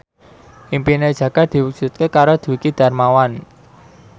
impine Jaka diwujudke karo Dwiki Darmawan